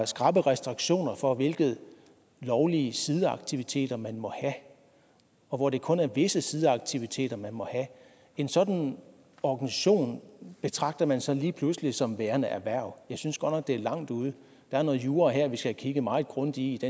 skrappe restriktioner for hvilke lovlige sideaktiviteter man må have og hvor det kun er visse sideaktiviteter man må have en sådan organisation betragter man så lige pludselig som værende erhverv jeg synes godt nok det er langt ude der er noget jura her vi skal have kigget meget grundigt